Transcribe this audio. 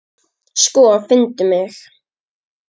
Sko, finndu mig.